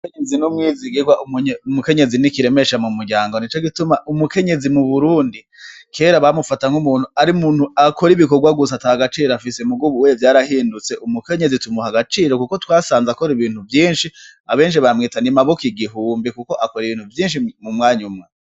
Umukenyezi N'Umwizigirwa, Umunye, Umukenyezi Ni Kiremesha Mumuryango. Nico Gituma Umukenyezi Mu Burundi Kera Bamufata Nk'Umuntu Arimuntu Akora Ibikorwa Gusa Atagaciro Afise Muga Ubu Uye Vyarahindutse, Umukenyezi Tumuha Agaciro Kuko Twasanzwe Akora Ibintu Vyinshi Abenshi Bamwita Ni Maboko Igihumbi Kuko Akora Ibintu Vyinshi Mi Mu Mwany'Umwe.